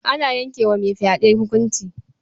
Ana yanke wa mai fyaɗe hukunci.